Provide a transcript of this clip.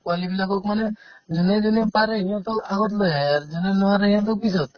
পোৱালিবিলাকক মানে যোনে যোনে পাৰে আহিব to আগত লৈ আহে আৰু যোনে নোৱাৰে সিহঁতক পিছত